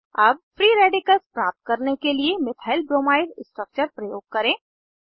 अब free radicals प्राप्त करने के लिए मिथाइलब्रोमाइड स्ट्रक्चर प्रयोग करें